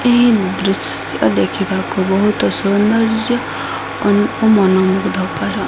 ଏଇ ଦୃଶ୍ୟ ଦେଖିବାକୁ ସୌନ୍ଦର୍ଯ୍ୟ ଅନ ଓ ମନ ମୁଗ୍ଧକର।